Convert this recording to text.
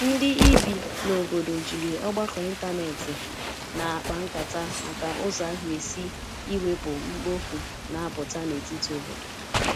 ndi ibi na obodo jiri ọgbako ịntanetị na akpa nkata maka ụzọ aga esi iwepụ mkpofu na aputa n'etiti obodo